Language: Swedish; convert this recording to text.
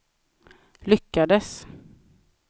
lyckades